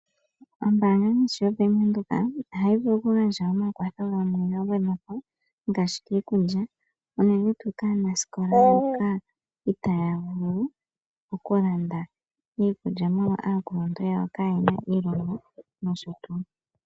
Ombaanga ngaashi yo Bank Windhoek ohayi vulu oku gandja omakwatho gamwe ga gwedhwapo, ngaashi giikulya unene tuu kaaanaskola mboka itaaya vulu oku landa iikulya molwa aakuluntu yawo kaayena iilonga nsh.